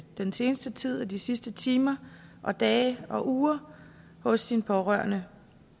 den sidste tid de sidste timer og dage og uger hos sin pårørende